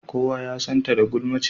Kowa ya san ta da gulmance.